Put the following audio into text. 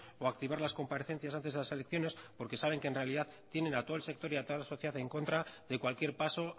o activar las comparecencias antes de las elecciones porque saben que en realidad tienen a todo el sector y a toda la sociedad en contra de cualquier paso